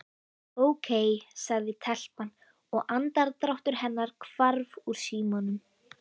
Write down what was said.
Ókei sagði telpan og andardráttur hennar hvarf úr símanum.